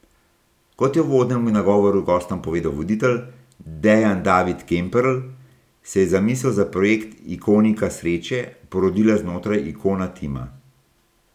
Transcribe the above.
Kot je v uvodnem nagovoru gostom povedal voditelj, Dejan David Kemperl, se je zamisel za projekt Ikonica sreče porodila znotraj Ikona tima.